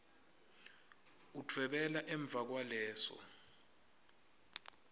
udvwebele emva kwaleso